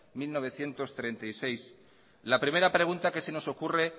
mil novecientos treinta y seis la primera pregunta que se nos ocurre